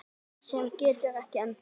Sem getur ekki endað.